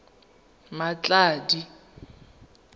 mmatladi